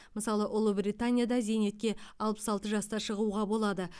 мысалы ұлыбританияда зейнетке алпыс алты жаста шығуға болады